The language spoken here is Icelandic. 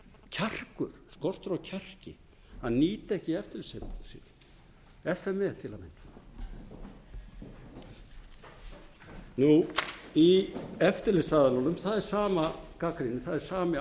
sem lýst er skortur á kjarki að nýta ekki eftirlits f m e til að mynda í eftirlitsaðilunum það er sama gagnrýnin það er